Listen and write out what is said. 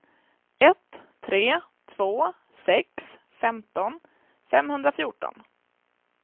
ett tre två sex femton femhundrafjorton